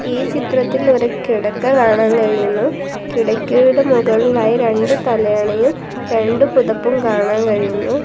ഈ ചിത്രത്തിൽ ഒരു കിടക്ക കാണാൻ കഴിയുന്നു കിടക്കയുടെ മുകളിലായി രണ്ട് തലയണയും രണ്ട് പുതപ്പും കാണാൻ കഴിയുന്നു.